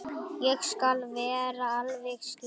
Ég skal vera alveg skýr.